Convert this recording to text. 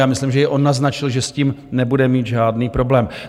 Já myslím, že i on naznačil, že s tím nebude mít žádný problém.